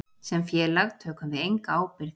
Sem félag tökum við enga ábyrgð.